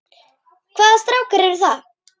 Hvaða strákar eru það?